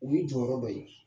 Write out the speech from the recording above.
U ye jɔyɔrɔ dɔ ye.